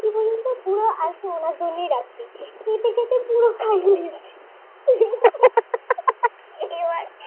আরেকটু ওনার জন্যই রাখছি খেতে খেতে পুরোটাই নিয়ে নিয়েছে। হে হে হে হে এবার